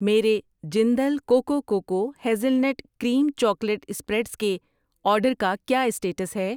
میرے Jindal coco coco hazelnut cream chocolate spreads کے order کا کیا اسٹیٹس ہے؟